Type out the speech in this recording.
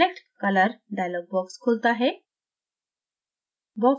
select color dialog box खुलता है